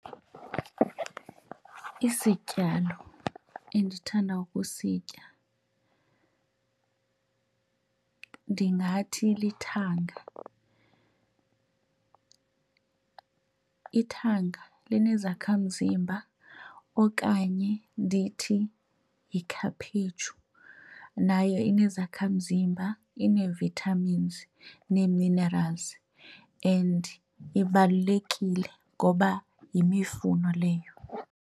Isityalo endithanda ukusitya ndingathi lithanga. Ithanga linezakhamzimba okanye ndithi yikhaphetshu nayo inezakhamzimba inee-vitamins nee-minerals and ibalulekile ngoba yimifuno leyo.